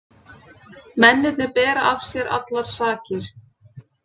Mennirnir bera af sér allar sakir